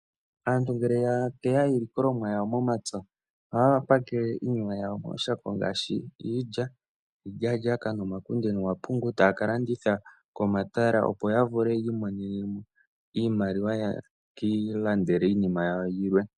Aantu ngele ya teya iilikolomwa yawo momapya, ohaya pakele iinima yawo mooshako ngaashi iilya, iilyawala, nomapungu ,taya ka landitha komatala, opo ya vule yi imonene mo iimaliwa, ye ki ilandele iinima yawo yilwe.